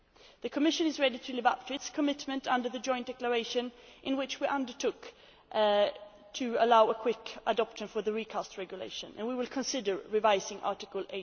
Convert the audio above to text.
The Commission is ready to live up to its commitment under the joint declaration in which we undertook to allow a quick adoption for the recast regulation and we will consider revising Article